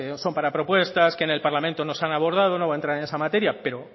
son para propuestas que en parlamento no se han abordado no voy a entrar en esa materia pero